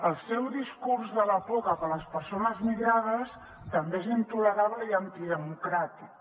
el seu discurs de la por cap a les persones migrades també és intolerable i antidemocràtic